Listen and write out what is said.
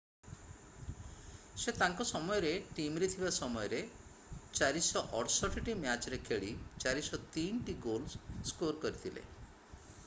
ସେ ତାଙ୍କ ସମୟରେ ଟିମରେ ଥିବା ସମୟରେ 468 ଟି ମ୍ୟାଚରେ ଖେଳି 403ଟି ଗୋଲ ସ୍କୋର କରିଥିଲେ